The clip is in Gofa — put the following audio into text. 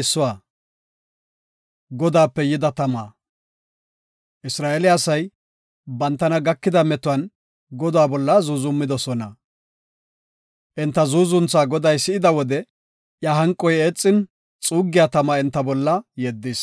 Isra7eele asay bantana gakida metuwan Godaa bolla zuuzumidosona. Enta zuuzuntha Goday si7ida wode iya hanqoy eexin, xuuggiya tama enta bolla yeddis;